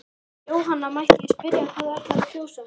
Jóhanna: Mætti ég spyrja hvað þú ætlar að kjósa?